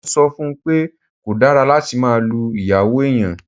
Mo ń sọ fún un pé kò dára láti máa lu ìyàwó èèyàn